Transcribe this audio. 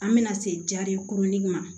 An bɛna se jari kurunin ma